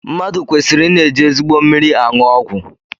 Mmadụ kweriri I na-eji ezigbo mmiri anụ ọgwụ